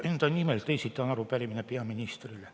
Enda nimel esitan arupärimise peaministrile.